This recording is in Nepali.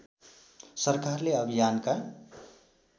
सरकारले अभियानका